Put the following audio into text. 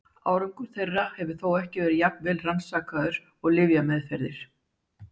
Árangur þeirra hefur þó ekki verið jafn vel rannsakaður og lyfjameðferðir.